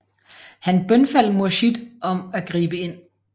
Han bønfaldt Murshid om at gribe ind